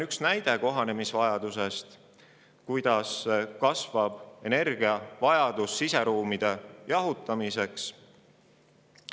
Üks näide kohanemisvajadusest – kuidas kasvab energiavajadus, et jahutada siseruume.